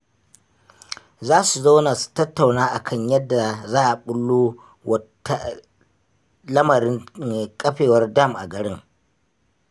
Za su zauna su tattauna a kan yadda za a ɓullo wa lamarin ƙafewar dam a garin